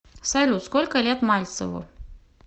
салют сколько лет мальцеву